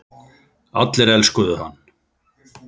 Allir elskuðu hann.